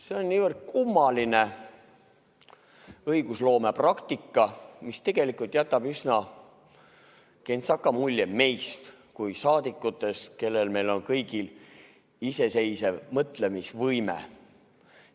See on niivõrd kummaline õigusloomepraktika, mis tegelikult jätab meist kui saadikutest, kellel meil kõigil on iseseisev mõtlemisvõime, üsna kentsaka mulje.